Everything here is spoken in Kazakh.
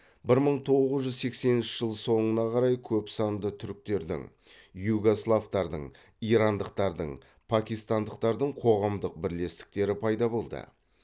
бір мың тоғыз жүз сексенінші жыл соңына қарай көп санды туріктердің югославтардың ирандықтардың пакистандықтардың қоғамдың бірлестіктері пайда болды